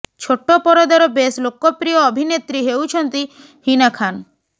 ଛୋଟ ପରଦାର ବେଶ୍ ଲୋକପ୍ରିୟ ଅଭିନେତ୍ରୀ ହେଉଛନ୍ତି ହୀନା ଖାନ